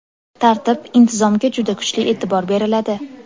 Tartib, intizomga juda kuchli e’tibor beriladi.